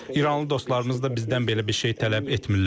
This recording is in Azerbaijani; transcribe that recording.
İranlı dostlarımız da bizdən belə bir şey tələb etmirlər.